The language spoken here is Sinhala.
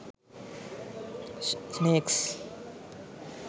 snakes